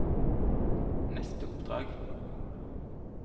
neste oppdrag